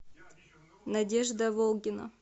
надежда волгина